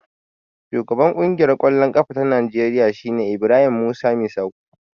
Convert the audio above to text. Shugaban Ƙungiyar ƙwallon ƙafa ta Najeriya shine Ibrahim Musa Misau.